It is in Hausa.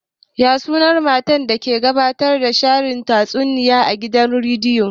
Ya sunan matar da ke gabatar da shirin tatsuniya a gidan rediyo?